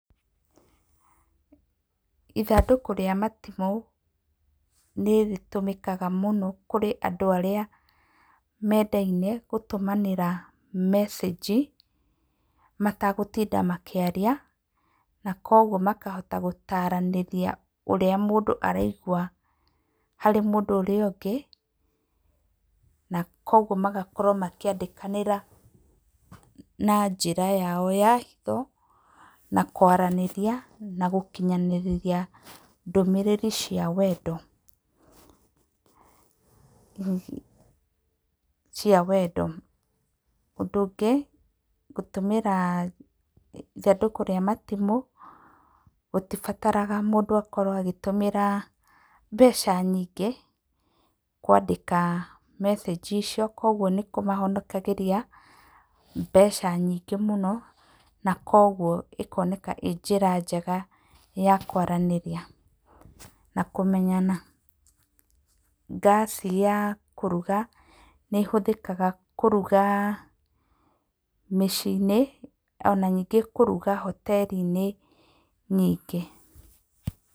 Ithandũkũ rĩa matimũ nĩ rĩtũmĩkaga mũno kũrĩ andũ arĩa mendaine gũtũmanĩra message matagũtinda makĩaria. Na kwoguo makahota gũtaranĩria ũrĩa mũndũ araigua harĩ mũndũ ũrĩa ũngĩ. Kwoguo magakorwo makĩandĩkanĩra na njĩra yao ya hitho na kwaranĩria na gũkinyanĩrĩria ndũmĩrĩri ciao cia wendo. Ũndũ ũngĩ, gũtũmĩra ithandũkũ rĩa matimũ gũtibataraga mũndũ akorwo agĩtũmĩra mbeca nyingĩ kwandĩka message icio, kwoguo nĩ kũmahonokagĩria mbeca nyingĩ mũno na kwoguo ĩkoneka ĩĩ njĩra njega na kwaranĩria na kũmenyana. Gasi ya kũruga nĩ ĩhũthĩkaga kũruga mĩciĩ-inĩ ona ningĩ kũruga hoteri-inĩ nyingĩ.